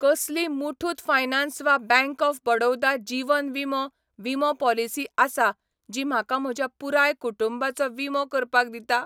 कसली मुठूत फायनान्स वा bank of Baroda जिवन विमो विमो पॉलिसी आसा जी म्हाका म्हज्या पुराय कुटुंबाचो विमो करपाक दिता?